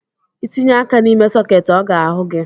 Itinye aka n’ime soketị ọ ga-ahụ gị